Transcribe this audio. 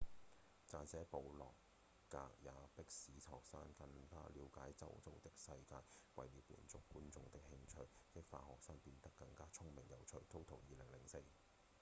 撰寫部落格也「迫使學生更加了解周遭的世界」為了滿足觀眾的興趣激發學生變得更加聰明有趣 toto2004 年